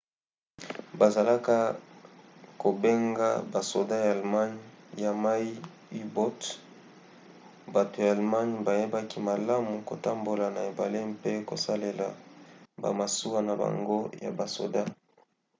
bazalaka kobenga basoda ya allemagne ya mai u-boats. bato ya allemagne bayebaki malamu kotambola na ebale mpe kosalela bamasuwa na bango ya basoda